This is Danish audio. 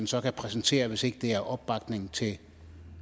så kan præsentere hvis ikke det er opbakning til